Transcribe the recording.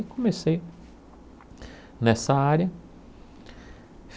E comecei nessa área.